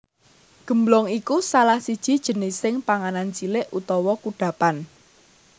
Gemblong iku salah siji jenising panganan cilik utawa kudhapan